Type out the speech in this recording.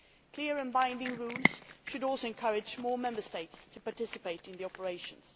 Clear and binding rules should also encourage more Member States to participate in these operations.